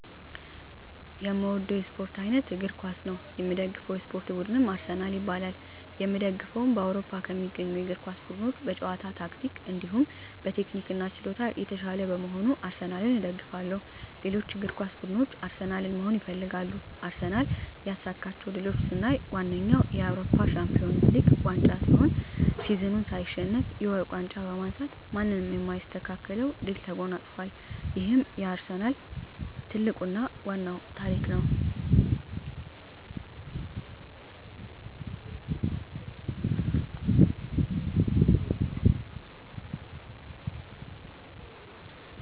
የእምወደዉ የእስፖርት አይነት እግር ኳስ ነዉ። የምደግፈዉ የእስፖርት ቡድንም አርሰናል ይባላል። የእምደግፈዉም በአዉሮፖ ከሚገኙ የእግር ኳስ ቡድኖች በጨዋታ ታክቲክ እንዲሁም ቴክኒክና ችሎታ የታሻለ በመሆኑ አርሰናልን እደግፋለሁ። ሌሎች እግር ኳስ ብድኖች አርሰናልን መሆን ይፈልጋሉ። አርሰናል ያሳካቸዉ ድሎች ስናይ ዋነኛዉ የአዉሮፖ ሻንፒወንስ ሊግ ዋንጫ ሲሆን ሲዝኑን ሳይሸነፍ የወርቅ ዋንጫ በማንሳት ማንም የማይስተካከለዉን ድል ተጎናፅፋል ይሄም የአርሰናል ትልቁና ዋናዉ ታሪክ ነዉ።